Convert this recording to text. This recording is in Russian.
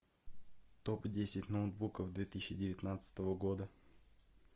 топ десять ноутбуков две тысячи девятнадцатого года